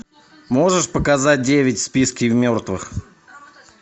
можешь показать девять в списке мертвых